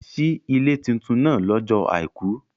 Si ile titun naa lọ́jọ́ Àìkú.